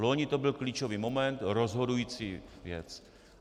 Loni to byl klíčový moment, rozhodující věc.